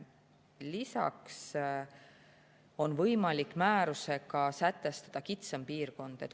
Lisaks on võimalik määrusega sätestada kitsam piirkond.